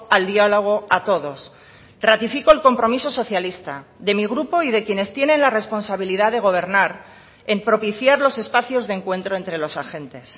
al diálogo a todos ratifico el compromiso socialista de mi grupo y de quienes tienen la responsabilidad de gobernar en propiciar los espacios de encuentro entre los agentes